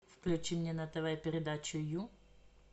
включи мне на тв передачу ю